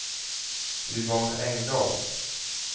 Yvonne Engdahl